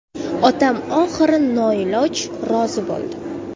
Otam oxiri noiloj rozi bo‘ldi.